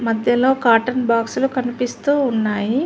మద్యలో cotton box లు కనిపిస్తూ ఉన్నాయి.